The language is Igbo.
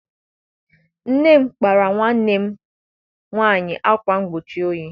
Nne m kpaara nwanne m nwaanyị akwa mgbochi oyi.